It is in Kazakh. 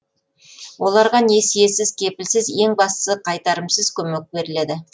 оларға несиесіз кепілсіз ең бастысы қайтарымсыз көмек беріледі